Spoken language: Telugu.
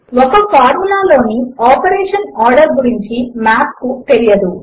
ఒక ఫార్ములా లోని ఆపరేషన్ ఆర్డర్ గురించి మాథ్ కు తెలియదు